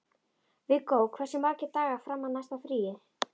Viggó, hversu margir dagar fram að næsta fríi?